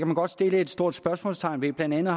man godt sætte et stort spørgsmålstegn ved blandt andet